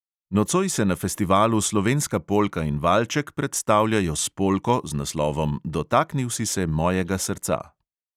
Nocoj se na festivalu slovenska polka in valček predstavljajo s polko z naslovom dotaknil si se mojega srca.